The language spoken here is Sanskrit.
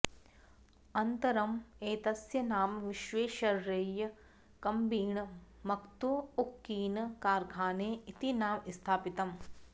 अन्न्तरम् एतस्य नाम विश्वेश्वरय्य कब्बिण मत्तु उक्किन कार्खाने इति नाम स्थापितम्